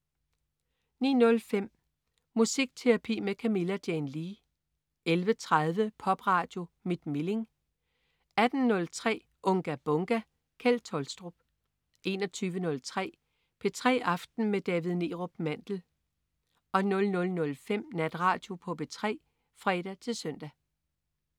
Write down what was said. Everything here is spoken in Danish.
09.05 Musikterapi med Camilla Jane Lea 11.30 Popradio mit Milling 18.03 Unga Bunga! Kjeld Tolstrup 21.03 P3 aften med David Neerup Mandel 00.05 Natradio på P3 (fre-søn)